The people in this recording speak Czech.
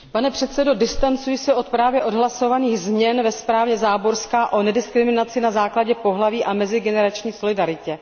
Pane předsedo, distancuji se od právě odhlasovaných změn ve zprávě Záborská o nediskriminaci na základě pohlaví a mezigenerační solidaritě.